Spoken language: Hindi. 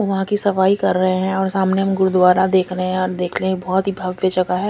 वह की सफाई कर रहे है और सामने हम गुरुद्वारा देख रहे है और देख रहे है ये बोहोत ही भव्य जगह है।